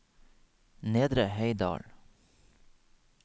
Nedre Heidal